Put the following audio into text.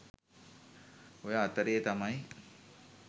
ඔය අතරේ තමයි